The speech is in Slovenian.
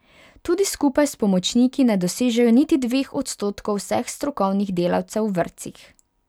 Tudi skupaj s pomočniki ne dosežejo niti dveh odstotkov vseh strokovnih delavcev v vrtcih.